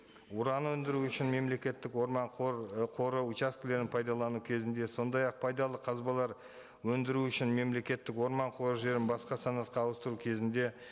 уран өндіру үшін мемлекеттік орман ы қоры учаскілерін пайдалану кезінде сондай ақ пайдалы қазбалар өндіру үшін мемлекеттік орман қоры жерін басқа санатқа ауыстыру кезінде